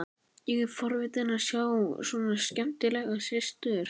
Ég er forvitinn að sjá svona skemmtilega systur.